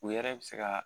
U yɛrɛ bɛ se ka